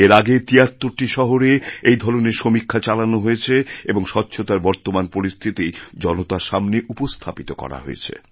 এর আগে তিয়াত্তরটি শহরে এই ধরনের সমীক্ষা চালানো হয়েছেএবং স্বচ্ছতার বর্তমান পরিস্থিতি জনতার সামনে উপস্থাপিত করা হয়েছে